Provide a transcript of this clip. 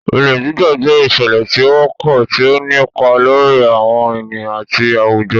Olè Jíjà jẹ́ ìṣẹ̀lẹ̀ tí ó wọ́pọ̀, tí ó ń nípa lórí àwọn ènìyàn àti àwùjọ.